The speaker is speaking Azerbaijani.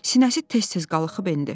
Sinəsi tez-tez qalxıb endi.